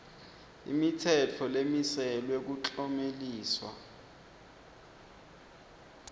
imitsetfo lemiselwe kuklomelisa